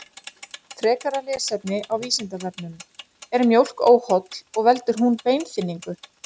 Frekara lesefni á Vísindavefnum: Er mjólk óholl og veldur hún beinþynningu?